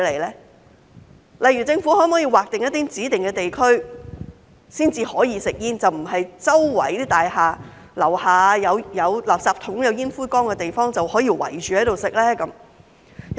舉例來說，政府可否劃出一些指定地區，只在該處才准吸煙，而不是在大廈樓下有垃圾桶、有煙灰缸的地方隨處圍着吸煙呢？